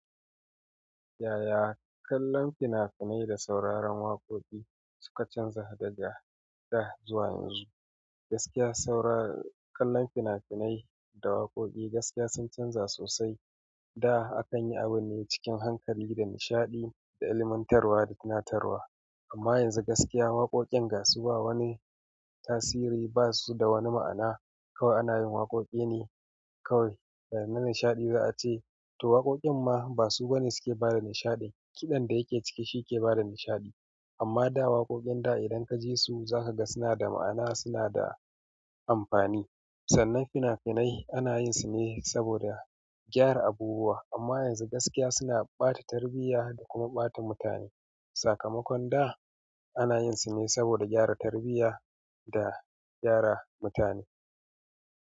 Yaya kallon fina-finai da sauraron waƙoƙi suka canza daga da zuwa yanzu? Gaskiya, saurar-- kallon fina-finai da waƙoƙi gaskiya sun canza sosai. Da akan yi abu ne cikin hankali da nishaɗi, da ilmantarwa da tunatarwa. Amma yanzu gaskiya waƙoƙin gaskiya ba wani tasiri, ba su da wani ma'ana. Kawai ana yin waƙoƙi ne kawai. Sa'anan nishaɗi za a ce to waƙoƙin ma ba su bane suke bada nishaɗi. Kiɗan da yake cike shi ke bada nishaɗi. Amma da waƙoƙin da idan ka ji su za ka ga suna da ma'ana, suna da amfani. Sannan fina-finai ana yin su ne saboda gyara abubuwa, amma yanzu gaskiya suna ɓata tarbiyya da kuma ɓata mutane. Sakamakon da ana yin su ne saboda gyara tarbiyya da gyara mutane.